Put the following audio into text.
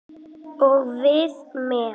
Og við með.